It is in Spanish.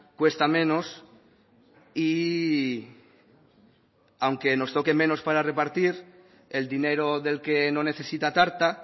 cuesta menos y aunque nos toque menos para repartir el dinero del que no necesita tarta